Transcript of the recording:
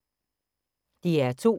DR2